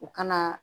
U kana